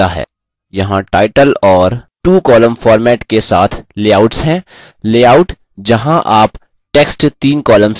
यहाँ टाइटल और twocolumns format के साथ लेआउट्स हैं लेआउट जहाँ आप text तीन columns में रख सकते हैं आदि